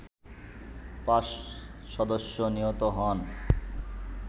৫ সদস্য নিহত হন